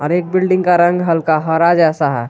एक बिल्डिंग का रंग हल्का हरा जैसा है।